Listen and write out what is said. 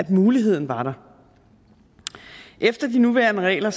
muligheden der efter de nuværende regler